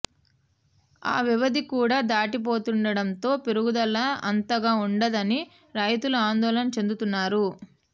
ఆ వ్యవధి కూడా దాటిపోతుండడంతో పెరుగుదల అంతగా ఉండదని రైతులు ఆందోళన చెందుతున్నారు